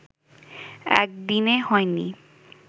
এক দিনে হয়নি